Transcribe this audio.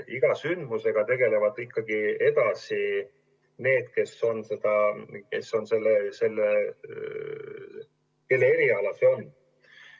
Iga sündmusega tegelevad ikkagi ka edaspidi need, kelle eriala see on.